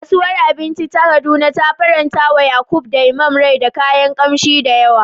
Kasuwar abinci ta Kaduna ta farantawa Yakub da Imam rai da kayan kamshi da yawa.